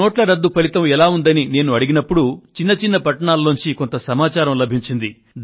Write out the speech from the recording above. ఈ నోట్ల రద్దు ఫలితం ఎలా ఉందని నేను అడిగినప్పుడు చిన్న చిన్న పట్టణాల్లో నుండి కొంత సమాచారం లభించింది